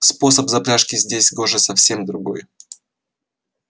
способ запряжки здесь гоже совсем другой